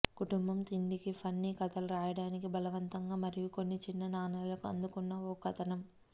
కుటుంబం తిండికి ఫన్నీ కథలు వ్రాయటానికి బలవంతంగా మరియు కొన్ని చిన్న నాణేలకు అందుకున్న ఒక కథనం